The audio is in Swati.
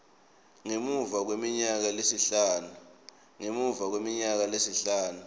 ngemuva kweminyaka lesihlanu